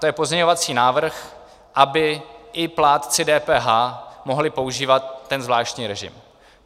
To je pozměňovací návrh, aby i plátci DPH mohli používat ten zvláštní režim.